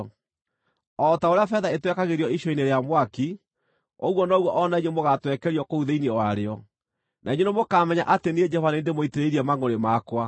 O ta ũrĩa betha ĩtwekagĩrio icua-inĩ rĩa mwaki, ũguo noguo o na inyuĩ mũgaatwekerio kũu thĩinĩ warĩo, na inyuĩ nĩmũkamenya atĩ niĩ Jehova nĩ niĩ ndĩmũitĩrĩirie mangʼũrĩ makwa.’ ”